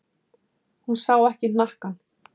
Hún sá ekki hnakkann.